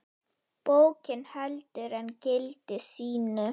Bókin heldur enn gildi sínu.